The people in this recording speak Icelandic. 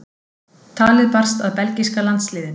Talið barst að belgíska landsliðinu.